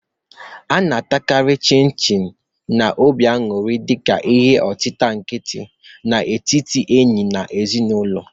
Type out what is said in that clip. A na-atakarị Chin-chin n'obi anuri dị ka ihe otita nkịtị n'etiti ndị enyi na ezinụlọ.